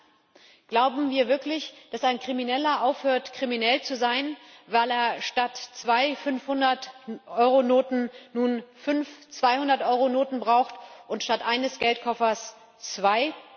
Im Ernst Glauben wir wirklich, dass ein Krimineller aufhört, kriminell zu sein, weil er statt zwei Fünfhundert Euro Noten nun fünf Zweihundert Euro Noten braucht und statt eines Geldkoffers zwei?